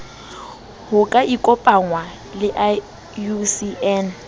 ho ka ikopangwa le iucn